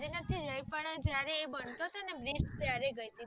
ગય પણ જયારે એ બનતો હતો ને ત્યારે ગય હતી